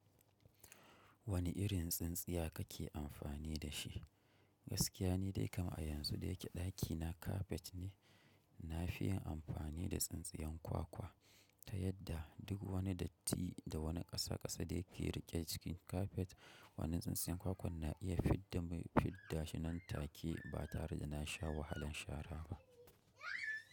Wane irin tsintsiya kale amfani da shi Gaskiya ne dai kam a yanzu da yake ɗakina kafet ne. Na fi yin amfani da tsintsiyan kwakwa ta yadda duk wani datti da wani ƙasaƙasa da yake riƙe cikin kafet. Wannan tsintsiyan kwakwa na iya fidda fidda shi nan take ba tare da na sha wahalan shara ba.